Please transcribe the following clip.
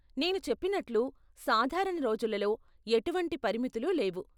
నేను చెప్పినట్లు , సాధారణ రోజులలో ఎటువంటి పరిమితులు లేవు.